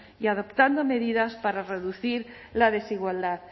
y adoptando medidas para reducir la desigualdad